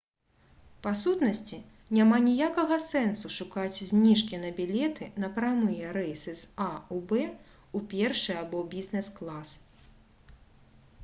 па сутнасці няма ніякага сэнсу шукаць зніжкі на білеты на прамыя рэйсы з а ў б у першы або бізнес-клас